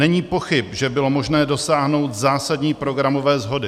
Není pochyb, že bylo možné dosáhnout zásadní programové shody.